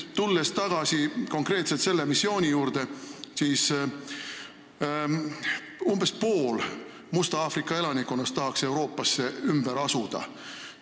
Tulles aga tagasi konkreetselt selle missiooni juurde, on selge, et umbes pool Musta Aafrika elanikkonnast tahaks Euroopasse ümber asuda.